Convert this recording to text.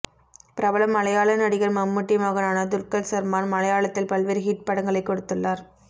பிரபல மலையாள நடிகர் மம்முட்டி மகனான துல்கர் சல்மான் மலையாளத்தில் பல்வேறு ஹிட் படங்களை கொடுத்துள்ளார்